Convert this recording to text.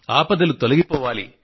ఆపదలు తొలగిపోవాలి